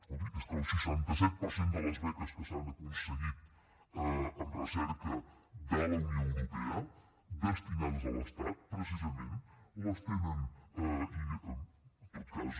escolti és que el seixanta set per cent de les beques que s’han aconseguit en recerca de la unió europea destinades a l’estat precisament les tenen i en tot cas